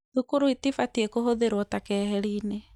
Thukuru itibatiĩ kũhũthĩrwo ta keheri-inĩ